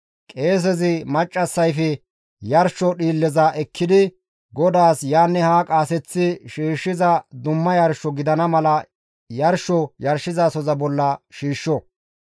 qeesezi maccassayfe yarsho dhiilleza ekkidi GODAAS yaanne haa qaaseththi shiishshiza dumma yarsho gidana mala yarsho yarshizasoza bolla shiishsho.